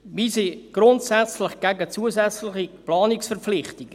Wir sind grundsätzlich gegen zusätzliche Planungsverpflichtungen.